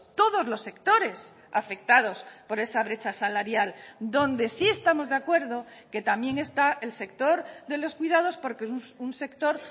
todos los sectores afectados por esa brecha salarial donde sí estamos de acuerdo que también está el sector de los cuidados porque es un sector